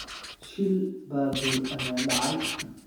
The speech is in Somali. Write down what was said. Shil baabuur ayaa dhacay.